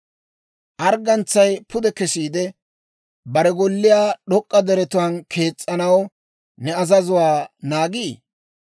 Arggantsay pude kesiide, bare golliyaa d'ok'k'a deretuwaan kees's'anaw ne azazuwaa naagii?